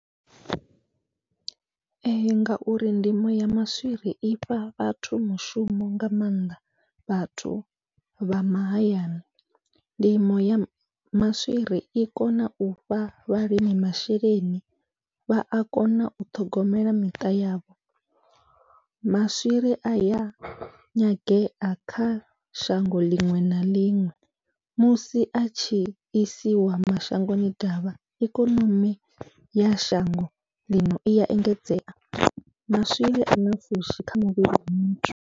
Ee ngauri ndimo ya maswiri ifha vhathu mushumo nga maanḓa vhathu vha mahayani, ndimo ya maswiri i kona ufha vhalimi masheleni vha a kona u ṱhogomela miṱa yavho, maswiri aya nyangea kha shango ḽiṅwe na ḽiṅwe musi atshi isiwa mashangoni ḓavha ikonomi ya shango ḽino iya engedzea maswiri ana pfhushi kha muvhili wa muthu.